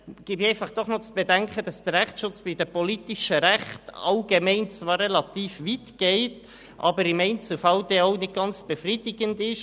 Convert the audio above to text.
Ich gebe zu bedenken, dass der Rechtsschutz bei den politischen Rechten allgemein zwar relativ weit geht, aber im Einzelfall auch nicht ganz befriedigend ist.